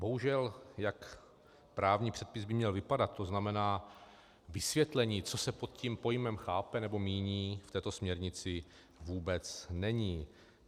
Bohužel, jak právní předpis by měl vypadat, to znamená vysvětlení, co se pod tím pojmem chápe nebo míní, v této směrnici vůbec není.